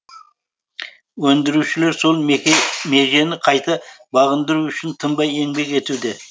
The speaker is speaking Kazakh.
өндірушілер сол межені қайта бағындыру үшін тынбай еңбек етуде